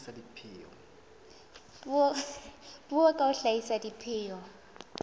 puo ka ho hlahisa dipheo